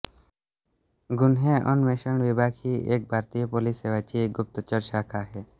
गुन्हे अन्वेषण विभाग ही एक भारतीय पोलीस सेवा ची एक गुप्तचर शाखा आहे